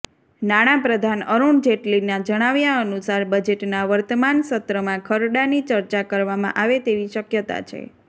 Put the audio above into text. નાણાપ્રધાન અરુણ જેટલીના જણાવ્યા અનુસાર બજેટના વર્તમાન સત્રમાં ખરડાની ચર્ચા કરવામાં આવે તેવી શક્યતા છે